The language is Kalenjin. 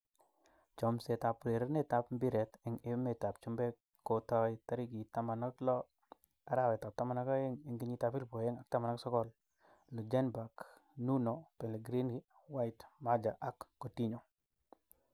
Chomset ab urerenet ab mbiret eng emet ab chumbek kotaai tarikit 16.12.2019: Ljungberg, Nuno, Pellegrini, White, Maja, Coutinho